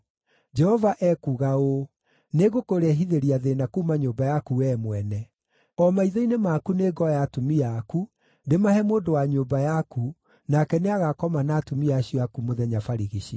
“Jehova ekuuga ũũ: ‘Nĩngũkũrehithĩria thĩĩna kuuma nyũmba yaku wee mwene. O maitho-inĩ maku nĩngoya atumia aku, ndĩmahe mũndũ wa nyũmba yaku, nake nĩagakoma na atumia acio aku mũthenya barigici.